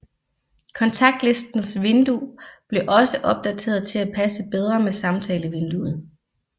Kontaktlistens vindue blev også opdateret til at passe bedre med samtalevinduet